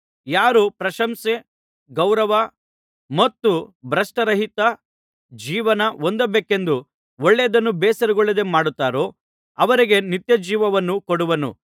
ಯಾರು ಪ್ರಶಂಸೆ ಗೌರವ ಮತ್ತು ಭ್ರಷ್ಟರಹಿತ ಜೀವನ ಹೊಂದಬೇಕೆಂದು ಒಳ್ಳೆಯದನ್ನು ಬೇಸರಗೊಳ್ಳದೆ ಮಾಡುತ್ತಾರೋ ಅವರಿಗೆ ನಿತ್ಯಜೀವವನ್ನು ಕೊಡುವನು